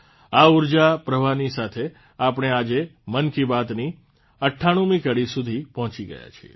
આ ઉર્જા પ્રવાહની સાથે આપણે આજે મન કી બાતની ૯૮મી કડી સુધી પહોંચી ગયા છે